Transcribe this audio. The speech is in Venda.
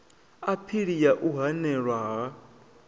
aphili ya u hanelwa ha